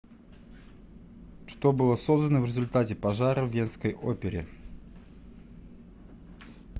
что было создано в результате пожара в венской опере